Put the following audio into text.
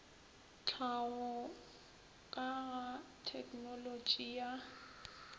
tlhaho ka ga tegnolotši ya